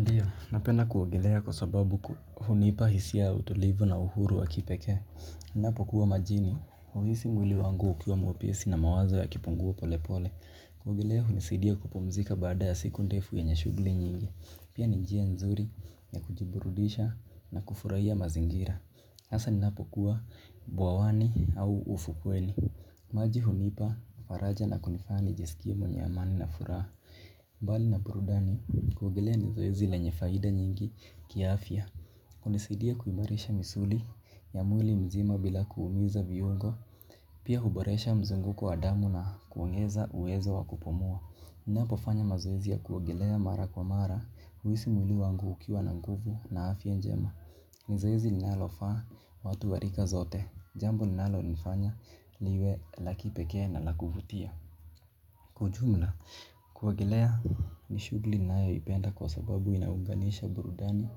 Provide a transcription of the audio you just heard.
Ndiyo, napenda kuogelea kwa sababu hunipa hisia ya utulivu na uhuru wa kipekee. Napo kuwa majini, huisi mwili wangu ukiwa mwepisi na mawazo ya kipungua pole pole. Kuogelea hunisidia kupumzika baada ya siku ndefu yenye shughuli nyingi. Pia ni njia nzuri ya kujiburudisha na kufurahia mazingira. Hasa ninapokuwa bwawani au ufukweni. Maji hunipa, faraja na kunifanya nijisikie mwenye amani na furaha. Mbali na burudani kuogelea nizoezi lenye faida nyingi kiafya. Unisidia kuimarisha misuli ya mwili mzima bila kuumiza viungo. Pia huboresha mzunguko wa damu na kuongeza uwezo wa kupumua. Ninapo fanya mazoezi ya kuogelea mara kwa mara huisi mwili wangu ukiwa na nguvu na afya njema. Nizoezi linalofa watu warika zote. Jambo linalo nifanya liwe lakipekee na lakuvutia. Kwa jumla, kuogelea ni shughuli nayo ipenda kwa sababu inaunganisha burudani